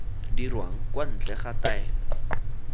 dirwang kwa ntle ga taelo